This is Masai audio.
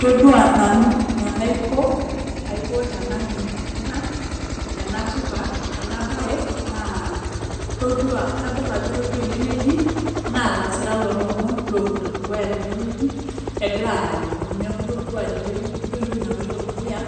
Todua nanu enaiko tenalimu ena bae naa, todua kadol ajo itodua ene wueji naa ilasirak lo lomon lopito dukuya tene wueji egira aya ilomon . Neaku todua tene wueji todua etoki naloito dukuya